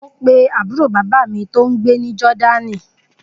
Mo pe àbúrò bàbá mi tó gbé ní Jordan